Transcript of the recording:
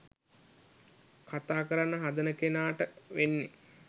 කතා කරන්න හදන කෙනාට වෙන්නේ